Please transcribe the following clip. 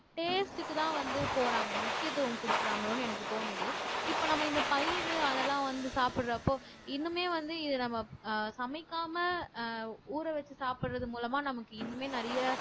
taste க்குதான் வந்து போறாங்க முக்கியத்துவம் குடுக்கறாங்களோன்னு எனக்கு தோணுது இப்ப நம்ம இந்த பயிறு அதெல்லாம் வந்து சாப்பிடறப்போ இன்னுமே வந்து இத நம்ம ஆஹ் சமைக்காம ஆஹ் ஊற வெச்சு சாப்பிடறது மூலமா நமக்கு இன்னுமே நிறைய